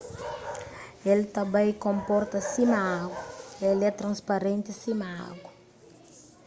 el ta bai konporta sima agu el é transparenti sima agu